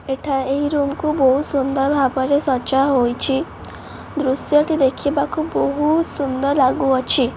ଏଠା ଏହି ରୁମ୍ କୁ ବହୁତ୍ ସୁନ୍ଦର ଭାବରେ ସଜା ହୋଇଛି ଦୃଶ୍ୟ ଟି ଦେଖିବାକୁ ବହୁତ୍ ସୁନ୍ଦର ଲାଗୁଅଛି।